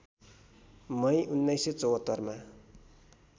मई १९७४ मा